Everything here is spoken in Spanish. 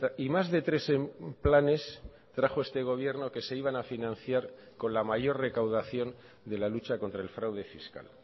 y más de tres planes trajo este gobierno que se iban a financiar con la mayor recaudación de la lucha contra el fraude fiscal